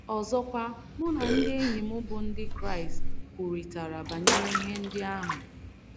Ọzọkwa, mụ na ndị enyi m bụ́ Ndị Kraịst kwurịtara banyere ihe ndị ahụ.